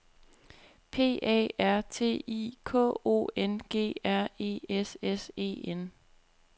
P A R T I K O N G R E S S E N